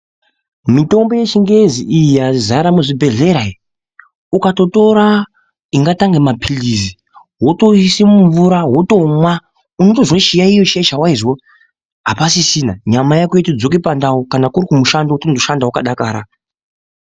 Mitombo yechingezi iyi yazara muzvibhedhlera iyi. Ukatotora zvingatange maphirizi votoiise mumvura votomwa unotozwe chiyaiyo chiya chavaizwa hapasisina. Nyama yako iya yotodzoke pandau kana kuri kumushando votoshanda vakadakara.